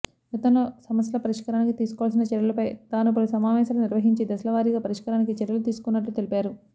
గతంలో సమ స్యల పరిష్కారానికి తీసుకోవాల్సిన చర్యలపై తాను పలు సమావేశాలు నిర్వహించి దశలవారీగా పరిష్కారానికి చర్యలు తీసుకున్నట్లు తెలిపారు